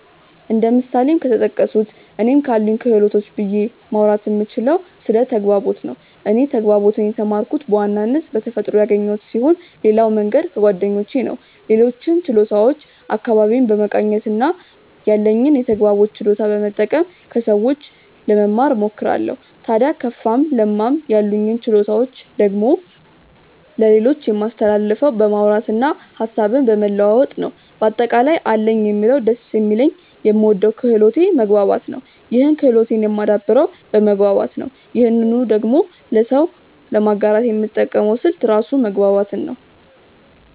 እንደ ምሳሌም ከተጠቀሱት እኔ ካሉኝ ክህሎቶች ብዬ ማውራት የምችለው ስለ ተግባቦት ነው። እኔ ተግባቦትን የተማርኩት በዋናነት በተፈጥሮ ያገኘሁት ስሆን ሌላው መንገድ ከጓደኞቼ ነው። ሌሎችን ችሎታዎች አካባቢዬን በመቃኘት እና ያለኝን የተግባቦት ችሎታ በመጠቀም ከሰዎች ለመማ እሞክራለው። ታድያ ከፋም ለማም ያሉኝን ችሎታዎች ደግሞ ለሌሎች የማስተላልፈው በማውራት እና ሀሳብን በመለዋወጥ ነው። በአጠቃላይ አለኝ የምለው ደስ የሚለኝ የምወደው ክህሎቴ መግባባት ነው ይህን ክህሎቴን የማደብረው በመግባባት ነው ይህንኑ ደግሞ ለሰው ለማጋራት የምጠቀመው ስልት ራሱ መግባባትን ነው።